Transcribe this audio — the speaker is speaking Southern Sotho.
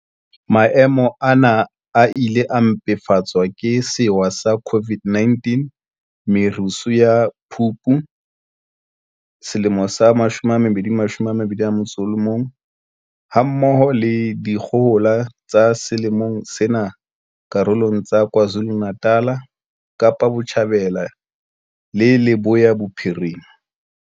Maemo ana a ile a mpefatswa ke sewa sa COVID-19, merusu ya Phupu 2021, ha mmoho le dikgohola tsa selemong sena karolong tsa KwaZulu-Natal, Kapa Botjhabela le Leboya Bophirima.